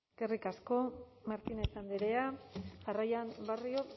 eskerrik asko martínez andrea jarraian barrio